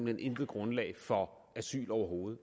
hen intet grundlag for asyl overhovedet